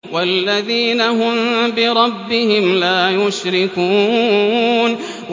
وَالَّذِينَ هُم بِرَبِّهِمْ لَا يُشْرِكُونَ